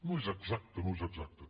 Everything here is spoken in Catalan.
no és exacte no és exacte